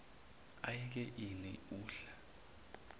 ayeke ini udla